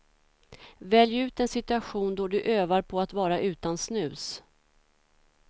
Välj ut en situation då du övar på att vara utan snus.